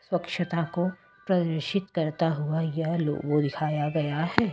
स्वच्छता को प्रदर्शित करता हुआ यह लोगो दिखाया गया है।